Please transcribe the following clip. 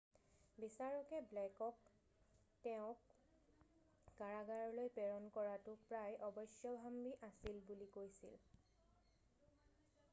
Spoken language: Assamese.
বিচাৰকে ব্লেকক তেওঁক কাৰাগাৰলৈ প্ৰেৰণ কৰাটো প্ৰায় অৱশ্যভাম্বী আছিল বুলি কৈছিল